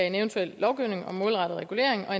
en eventuel lovgivning om målrettet regulering og